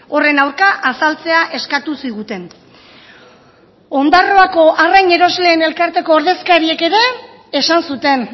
horren aurka azaltzea eskatu ziguten ondarroako arrain erosleen elkarteko ordezkariek ere esan zuten